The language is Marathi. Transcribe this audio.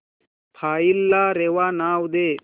फाईल ला रेवा नाव दे